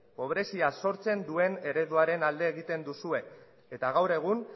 pobrezia sortzen duen ereduaren alde egiten duzue eta gaur egun